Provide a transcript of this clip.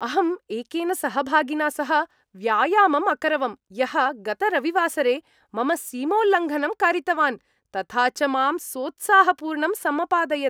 अहम् एकेन सहभागिना सह व्यायामम् अकरवम्, यः गतरविवासरे मम सीमोल्लङ्घनं कारितवान्, तथा च माम् सोत्साहपूर्णं समपादयत्।